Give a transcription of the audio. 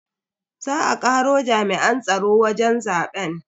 Za a karo jami'an tsaro wajen zaben.